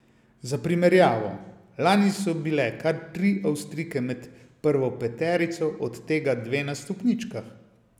Za primerjavo, lani so bile kar tri Avstrijke med prvo peterico, od tega dve na stopničkah.